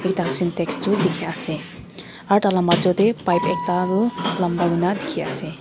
ekta sintex tu dikhi ase aru tah lah major teh pipe ekta tu lamba koina dikhi ase.